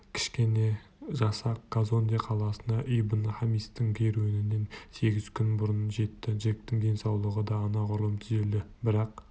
кішкене жасақ казонде қаласына ибн-хамистың керуенінен сегіз күн бұрын жетті джектің денсаулығы да анағұрлым түзелді бірақ